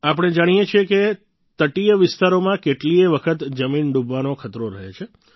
આપણે જાણીએ છીએ કે તટીય વિસ્તારોમાં કેટલીયે વખત જમીન ડૂબવાનો ખતરો રહે છે